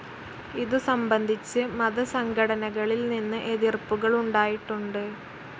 ഇതുസംബന്ധിച്ച് മതസംഘടനകളിൽ നിന്ന് എതിർപ്പുകളുണ്ടായിട്ടുണ്ട്.